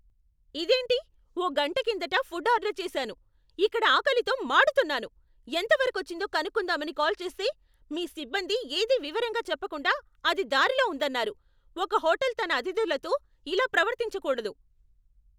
ఇదేంటి! ఓ గంట కిందట ఫుడ్ ఆర్డర్ చేసాను, ఇక్కడ ఆకలితో మాడుతున్నాను. ఎంత వరకొచ్చిందో కనుక్కుందామని కాల్ చేస్తే, మీ సిబ్బంది ఏదీ వివరంగా చెప్పకుండా అది దారిలో ఉందన్నారు. ఒక హోటల్ తన అతిథులతో ఇలా ప్రవర్తించకూడదు.